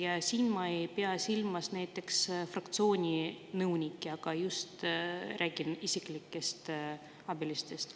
Ja siin ma ei pea silmas näiteks fraktsiooni nõunikke, vaid räägin just isiklikest abilistest.